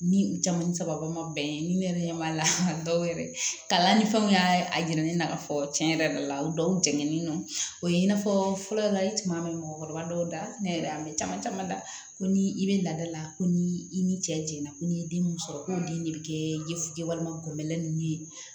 Ni u caman ni sababa ma bɛn ni ne yɛrɛ ɲɛ b'a la dɔw yɛrɛ kalan ni fɛnw y'a yira ne na ka fɔ cɛn yɛrɛ la o dɔw jɛngɛnen don o ye i n'a fɔ fɔlɔ tuma min bɛ mɔgɔkɔrɔba dɔw da ne yɛrɛ a bɛ caman caman da ko ni i bɛ laada la ko ni i ni cɛ jɛnna ko n'i ye den mun sɔrɔ ko den de bɛ kɛ ye walima gɔbɛlɛ ninnu ye